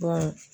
Ba